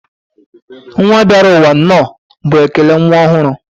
nwa bịarụ ụwa nnọọ bụ ekele nwa ọhụrụ.